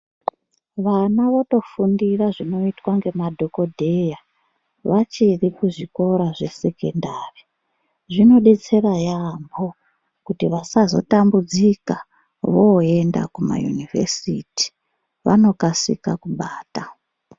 Vana votofundira zvinoitwa ngemadhokodheya, vachiri kuzvikora zvesekendari. Zvinodetsera yaampho, kuti vasazotambudzika voenda kumayunivhesiti, vanokasika kubata.